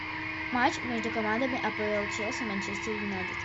матч между командами апл челси манчестер юнайтед